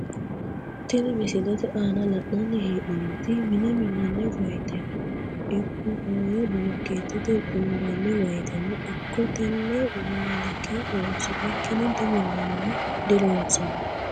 Tini misilete aana la!nani heenomoti mine minani woyitrno ikko hoowe bolokeetete hoonbani woyiteno ikko tene waalike horonsinikini diminanni woyi dilonsani.